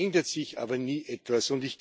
Es ändert sich aber nie etwas.